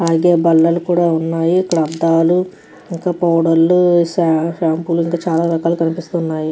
ఇక్కడ బాలలు కూడా వున్నాయ్. ఇక్కడ అబ్బైలు నిద్ర పోతునాటు గ కనిపిస్తుంది.